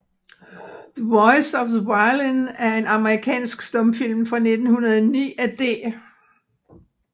The Voice of the Violin er en amerikansk stumfilm fra 1909 af D